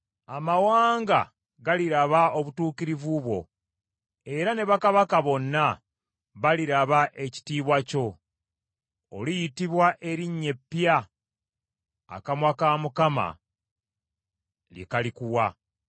Amawanga galiraba obutuukirivu bwo, era ne bakabaka bonna baliraba ekitiibwa kyo. Oliyitibwa erinnya epya akamwa ka Mukama lye kalikuwa.